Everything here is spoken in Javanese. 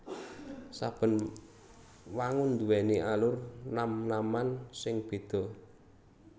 Saben wangun nduwèni alur nam naman sing béda